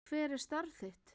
Hver er starf þitt?